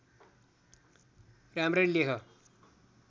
राम्ररी लेख